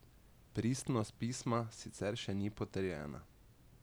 Pristnost pisma sicer še ni potrjena.